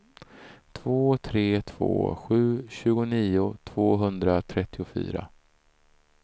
två tre två sju tjugonio tvåhundratrettiofyra